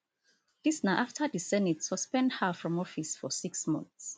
dis na afta di senate suspend her from office for six months